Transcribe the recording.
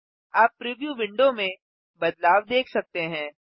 आप preview window में बदलाव देख सकते हैं